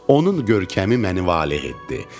Onun görkəmi məni valeh etdi, sevindirdi.